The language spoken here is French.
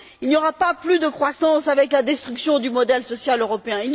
Il n'y aura pas plus de croissance avec la destruction du modèle social européen.